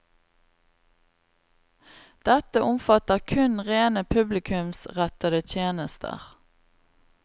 Dette omfatter kun rene publikumsrettede tjenester.